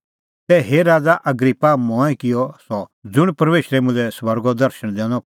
तै हे राज़ा अग्रिप्पा मंऐं किअ सह ज़ुंण परमेशरै मुल्है स्वर्गो दर्शण दैनअ